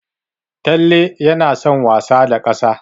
Talle yana son wasa da ƙasa.